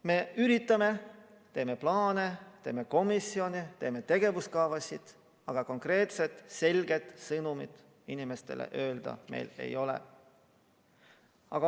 Me üritame, teeme plaane, teeme komisjone, teeme tegevuskavasid, aga konkreetset selget sõnumit meil inimestele öelda ei ole.